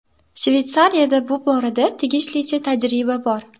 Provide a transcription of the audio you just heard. Shveysariyada bu borada tegishlicha tajriba bor.